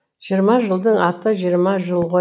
жиырма жылдың аты жиырма жыл ғо